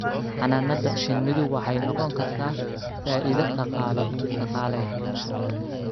Xannaanada shinnidu waxay noqon kartaa faa'iido dhaqaale.